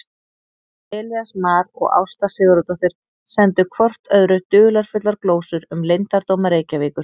Elías Mar og Ásta Sigurðardóttir sendu hvort öðru dularfullar glósur um leyndardóma Reykjavíkur.